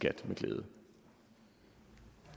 i givet